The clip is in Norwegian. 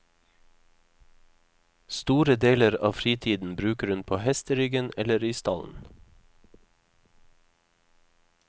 Store deler av fritiden bruker hun på hesteryggen eller i stallen.